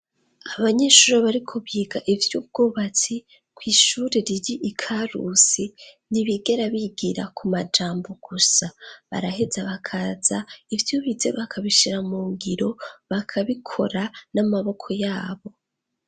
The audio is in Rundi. Abanyeshure bariko biga ivvy'ubwubatsi kw'ishure riri ikarusi ntibigera bigira kumajambo gusa; baraheza bakaza ivyobize bakabishira mungiro bakabikora n'amaboko yabo.